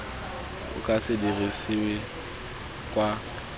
o ka se dirisiwe kwa